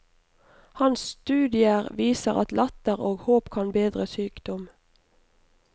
Hans studier viser at latter og håp kan bedre sykdom.